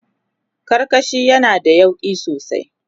karkashi yana da yauƙi sosai